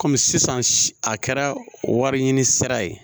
Kɔmi sisan a kɛra wari ɲini sira ye